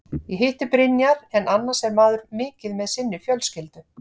Ég hitti Brynjar en annars er maður mikið með sinni fjölskyldu.